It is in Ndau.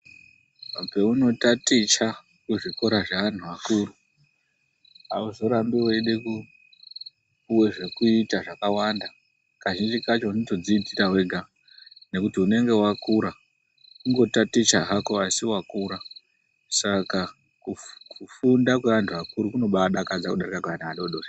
Paunotaticha kuzvikora zvevantu vakuru hauzorambi weide kupuwe zvekuita zvakawanda. Kazhinji kacho unotozviitira wega nekuti unenge wakura kungotaticha hako asi wakura. Saka kufunda kweantu akuru kunobaadakadza kudarika kweana adoodori.